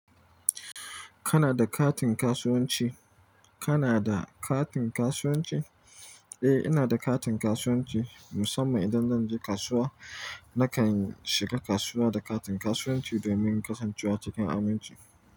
Kana da katin kasuwanci? Kana da katin kasuwanci? Eh, ina da katin kasuwanci. Musamman idan zan je kasuwa, nakan shiga kasuwa da katin kasuwanci domin kasancewa cikin aminci.